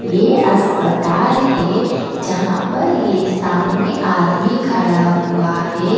ये अस्पताल है जहां पर ये सामने आदमी खड़ा हुआ है ।